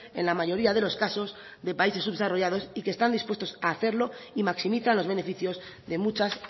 en la mayoría de los casos de países subdesarrollados y que están dispuestos hacerlo y maximiza los beneficios de muchas